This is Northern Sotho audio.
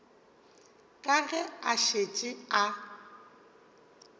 ka ge a šetše a